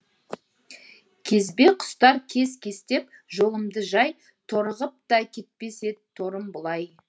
кезбе құстар кес кестеп жолымды жай торығып та кетпес ед торым бұлай